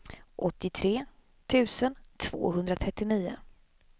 åttiotre tusen tvåhundratrettionio